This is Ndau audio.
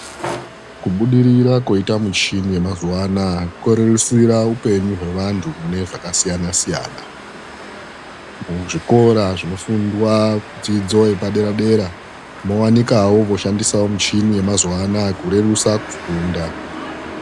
Kubudirira koita michini yemazuano aya korerutsira upenyu hwe antu mune zvakasiyanasiyana, muzvikora Zvinofundwa dzidzo yepadera dera mowanikawo kushandisa michini yemazuano kurerutsa kufunda.